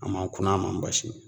A man kuna a man basi